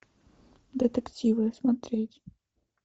детективы смотреть